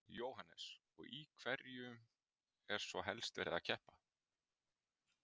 Jóhannes: Og í hverju er svo helst verið að keppa?